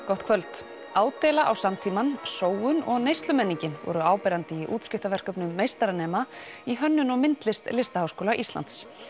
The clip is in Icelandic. gott kvöld ádeila á samtímann sóun og neyslumenningin voru áberandi í útskriftarverkum meistaranema í hönnun og myndlist Listaháskóla Íslands